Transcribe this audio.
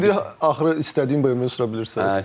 İndi axırı istədiyin BMW-ni sürə bilirsən.